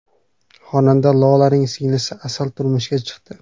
Xonanda Lolaning singlisi Asal turmushga chiqdi .